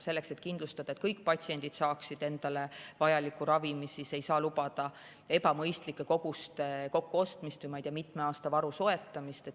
Selleks et kindlustada, et kõik patsiendid saaksid endale vajaliku ravimi, ei saa lubada ebamõistlike koguste kokkuostmist, ma ei tea, mitme aasta varu soetamist.